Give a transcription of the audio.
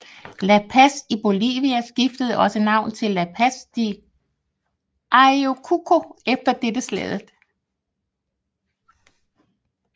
La Paz i Bolivia skiftede også navn til La Paz de Ayacucho efter dette slaget